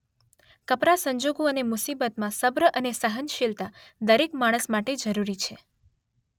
કપરા સંજોગો અને મુસીબતમાં સબ્ર અને સહનશીલતા દરેક માણસ માટે જરૂરી છે.